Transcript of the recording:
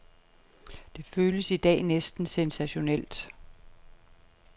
Det føles i dag næsten sensationelt.